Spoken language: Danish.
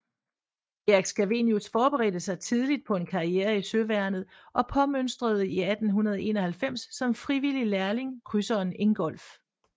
Erik Scavenius forberedte sig tidligt på en karriere i søværnet og påmønstrede 1891 som frivillig lærling krydseren Ingolf